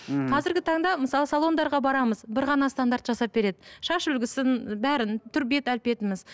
ммм қазіргі таңда мысалы салондарға барамыз бір ғана стандарт жасап береді шаш үлгісін бәрін түр бет әлпетіміз